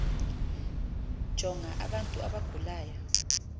jonga abantu abagulayo